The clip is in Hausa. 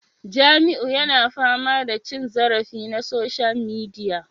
Jamiu yana fama da cin zarafi na social media